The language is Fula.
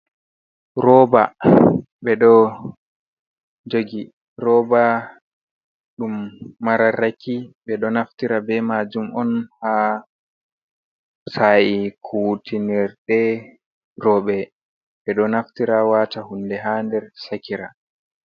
Rooba, ɓe ɗo jogi rooba ɗum mararraki, ɓe ɗo naftira be majum on ha sa'i kuwtinirɗe roɓe, ɓe ɗo naftira waata hunde ha nder sakira.